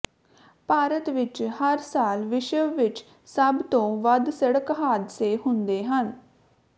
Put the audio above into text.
ਭਾਰਤ ਵਿਚ ਹਰ ਸਾਲ ਵਿਸ਼ਵ ਵਿਚ ਸਭ ਤੋਂ ਵੱਧ ਸੜਕ ਹਾਦਸੇ ਹੁੰਦੇ ਹਨ